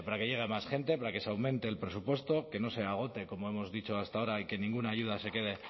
gente para que se aumente el presupuesto que no se agote como hemos dicho hasta ahora y que ninguna ayuda se quede